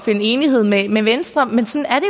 finde enighed med med venstre men sådan er